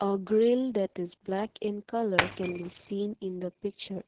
a grill that is black in colour can be seen in the picture.